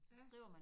Ja